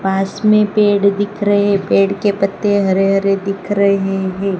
पास में पेड़ दिख रहे पेड़ के पत्ते हरे हरे दिख रहे हैं।